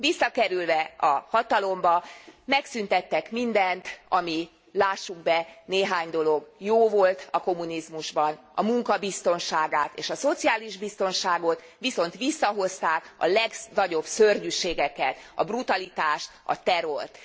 Visszakerülve a hatalomba megszüntettek mindent, ami lássuk be, néhány dolog jó volt a kommunizmusban, a munka biztonságát és a szociális biztonságot, viszont visszahozták a legnagyobb szörnyűségeket, a brutalitást, terrort.